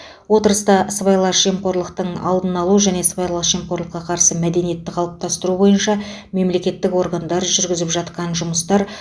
отырыста сыбайлас жемқорлықтың алдын алу және сыбайлас жемқорлыққа қарсы мәдениетті қалыптастыру бойынша мемлекеттік органдар жүргізіп жатқан жұмыстар